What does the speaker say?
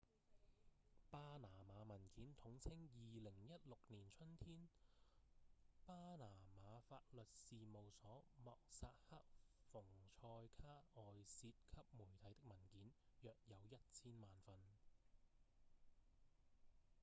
「巴拿馬文件」統稱2016年春天巴拿馬法律事務所莫薩克‧馮賽卡外洩給媒體的文件約有一千萬份